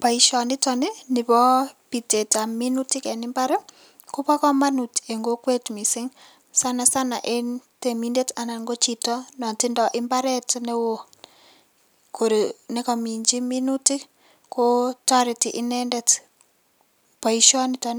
Boisioniton nibo bitetab minutik en imbar ii kobo komonut en kokwet missing' sana sana ko en temindet anan ko chito netindo imbaret neo nekominchi minutik kotoreti inendet boisioniton